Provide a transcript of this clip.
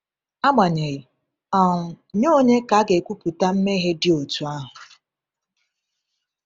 Agbanyeghị, um nye onye ka a ga-ekwupụta mmehie dị otú ahụ?